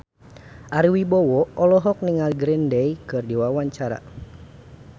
Ari Wibowo olohok ningali Green Day keur diwawancara